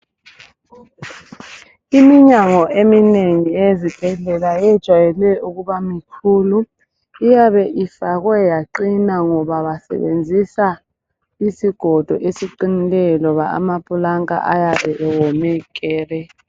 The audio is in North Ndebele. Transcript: Iminyango eminengi eyezibhendlela yejayele ukubamikhulu iyabe ifakwe yaqina ngoba basebenzisa isigodo esiqinileyo loba amaplanka ayabe ewome kere.